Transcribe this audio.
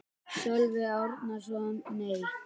Sölvi Árnason: Nei.